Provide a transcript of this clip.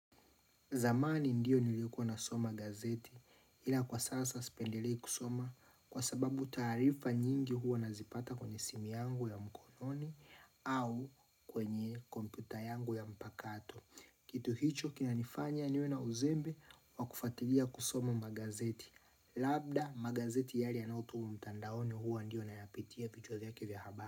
Zamani ndio nilikuwa na soma gazeti ila kwa sasa sipendelei kusoma kwa sababu taarifa nyingi huwa nazipata kwenye simu yangu ya mkononi au kwenye komputa yangu ya mpakato. Kitu hicho kina nifanya niwe na uzembe wa kufatilia kusoma magazeti. Labda magazeti yale yanayotumwa mtandaoni huwa ndiyo nayapitia vichwa vyake vya haba.